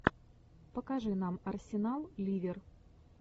покажи нам арсенал ливер